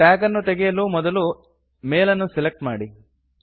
tag ಅನ್ನು ತೆಗೆಯಲು ಮೊದಲು ಮೇಲ್ ಅನ್ನು ಸೆಲೆಕ್ಟ್ ಮಾಡಿ